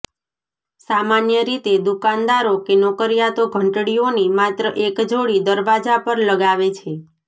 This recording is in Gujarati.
સામાન્ય રીતે દુકાનદારો કે નોકરિયાતો ઘંટડીઓની માત્ર એક જોડી દરવાજા પર લગાવે છે